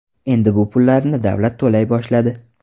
Endi bu pullarni davlat to‘lay boshladi .